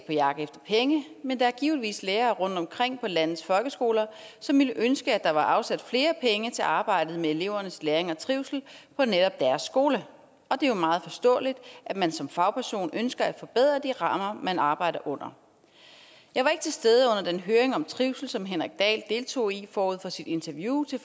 på jagt efter penge men der er givetvis lærere rundtomkring på landets folkeskoler som ville ønske at der var afsat flere penge til arbejdet med elevernes læring og trivsel på netop deres skole og det er jo meget forståeligt at man som fagperson ønsker at forbedre de rammer man arbejder under jeg var ikke til stede under den høring om trivsel som henrik dahl deltog i forud for sit interview til